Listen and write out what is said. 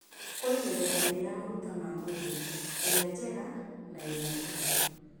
Kũrĩ mĩthemba ĩĩrĩ ya maguta ma mwĩrĩ: ĩrĩa njega na ĩrĩa njũru.